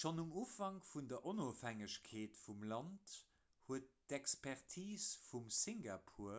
schonn um ufank vun der onofhängegkeet vum land huet d'expertis vum singapore